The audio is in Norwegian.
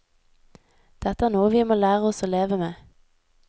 Dette er noe vi må lære oss å leve med.